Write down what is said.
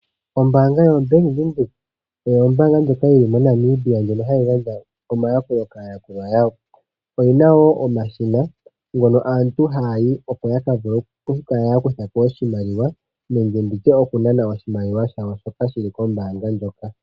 Ombaanga yoBank Windhoek oyo ombaanga ndjoka yi li moNamibia ndjono hayi gandja omayakulo kaayakulwa yawo. Oyi na wo omashina ngono aantu haya yi opo ya ka vule oku kala ya kuthako oshimaliwa nenge nditye okunana oshimaliwa shawo shoka shi li kombaanga ndjoka.